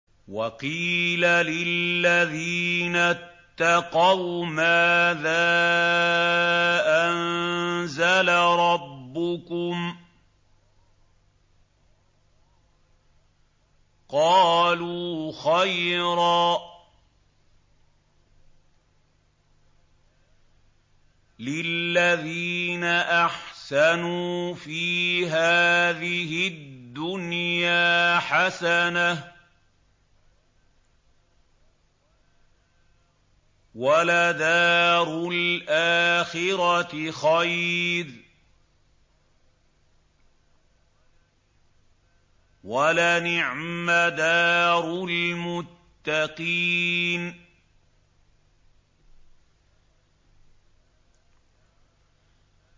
۞ وَقِيلَ لِلَّذِينَ اتَّقَوْا مَاذَا أَنزَلَ رَبُّكُمْ ۚ قَالُوا خَيْرًا ۗ لِّلَّذِينَ أَحْسَنُوا فِي هَٰذِهِ الدُّنْيَا حَسَنَةٌ ۚ وَلَدَارُ الْآخِرَةِ خَيْرٌ ۚ وَلَنِعْمَ دَارُ الْمُتَّقِينَ